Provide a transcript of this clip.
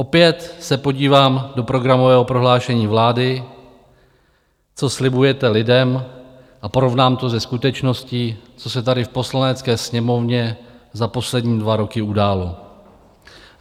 Opět se podívám do programového prohlášení vlády, co slibujete lidem, a porovnám to se skutečností, co se tady v Poslanecké sněmovně za poslední dva roky událo.